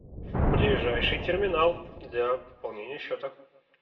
ближайший терминал для пополнения счета